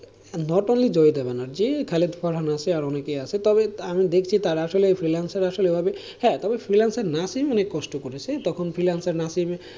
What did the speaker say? Not only Joyita Banerjee আরও অনেকেই আছে, তবে আমি দেখছি তারা আসলে freelancer আসলে হ্যাঁ তবে freelancer নাসিব অনেকে কষ্ট করেছে, তখন freelancer নাসিব,